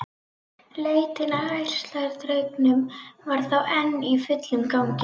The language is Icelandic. Leitin að ærsladraugnum var þá enn í fullum gangi!